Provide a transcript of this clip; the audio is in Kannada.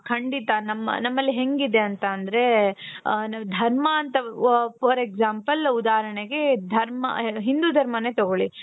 ಖಂಡಿತ ನಮ್ ನಮ್ಮಲ್ಲಿ ಹೆಂಗಿದೆ ಅಂತಾoದ್ರೆ ಆ ನಾವ್ ಧರ್ಮ ಅಂತ for example ಉದಾಹರಣೆಗೆ ಧರ್ಮ ಹಿಂದು ಧರ್ಮಾನೆ ತಗೊಳ್ಳಿ .